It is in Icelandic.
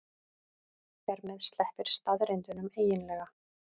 Hér með sleppir staðreyndunum eiginlega.